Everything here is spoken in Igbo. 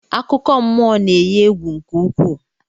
Akụkọmmụọ na-eyi egwu nke ukwuu